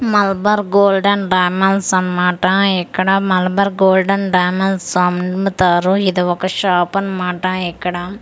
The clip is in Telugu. మలబార్ గోల్డ్ అండ్ డైమండ్స్ అన్నమాట ఇక్కడ మలబార్ గోల్డ్ అండ్ డైమండ్స్ అమ్ముతారు ఇది ఒక షాపు అన్నమాట ఇక్కడ.